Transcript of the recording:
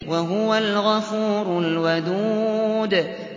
وَهُوَ الْغَفُورُ الْوَدُودُ